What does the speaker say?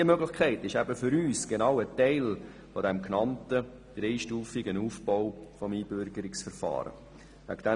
Diese Möglichkeit ist für uns genau ein Teil des genannten dreistufigen Aufbaus des Einbürgerungsverfahrens.